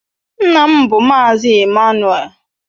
Nna m bụ Mazị Ịmmanuel.